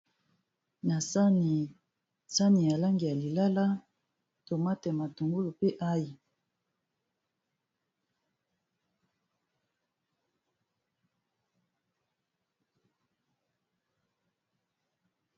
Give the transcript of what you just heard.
Na sani ya langi ya lilala tomate, matungulu pe aïe.